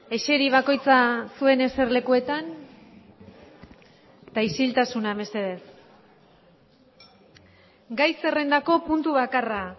eseri bakoitza zuen eserlekuetan eta isiltasuna mesedez gai zerrendako puntu bakarra